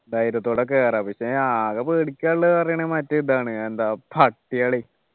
ധൈര്യത്തോടെ കേറാം പക്ഷേ ആകെ പേടിക്കാനുള്ളത് പറയാണ് മറ്റേ ഇതാണ് എന്താ പട്ടികളെ